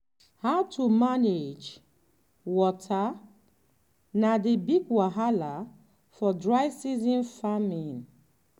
how to manage water na the big wahala for dry season farming.